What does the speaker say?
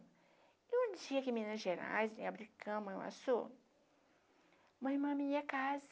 E onde tinha aqui em Minas Gerais, em abri cama, na minha casa.